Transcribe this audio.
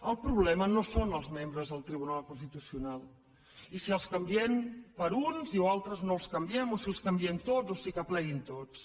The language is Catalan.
el problema no són els membres del tribunal constitucional si els canviem per uns o uns altres no els canviem o si els canviem tots o si que pleguin tots